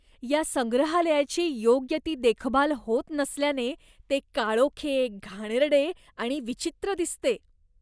या संग्रहालयाची योग्य ती देखभाल होत नसल्याने ते काळोखे, घाणेरडे आणि विचित्र दिसते.